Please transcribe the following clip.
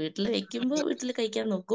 വീട്ടില് വെക്കുമ്പോ വീട്ടിൽ കഴിക്കാൻ നോക്കും